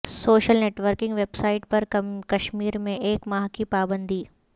social networking web sites پر کشمیر میں ایک ماہ کی پابندی